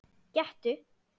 Gettu